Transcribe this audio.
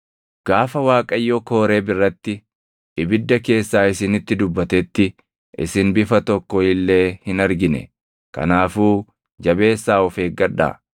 Gaafa Waaqayyo Kooreeb irratti ibidda keessaa isinitti dubbatetti isin bifa tokko illee hin argine. Kanaafuu jabeessaa of eeggadhaa;